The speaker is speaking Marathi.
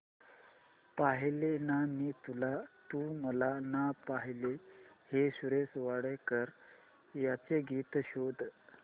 पाहिले ना मी तुला तू मला ना पाहिले हे सुरेश वाडकर यांचे गीत शोध